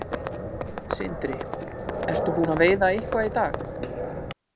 Sindri: Ertu búinn að veiða eitthvað í dag?